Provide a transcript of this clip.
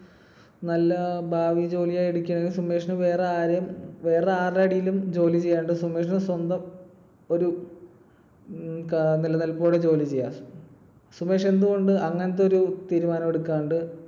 നല്ല ഭാവി ജോലിയായി സുമേഷിന് വേറെ ആരേം, വേറെ ആരുടെ അടിയിലും ജോലി ചെയ്യാണ്ട് സുമേഷിന് സ്വന്തം ഒരു ക~നിലനിൽപ്പോടെ ജോലി ചെയ്യാം. സുമേഷ് എന്തുകൊണ്ട് അങ്ങനത്തെയൊരു തീരുമാനം എടുക്കാണ്ട്